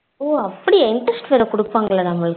ஓ அப்டியா interest வேற குடுப்பாங்களா நமக்கு